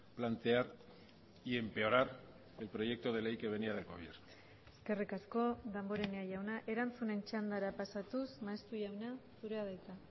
plantear y empeorar el proyecto de ley que venía del gobierno eskerrik asko damborenea jauna erantzunen txandara pasatuz maeztu jauna zurea da hitza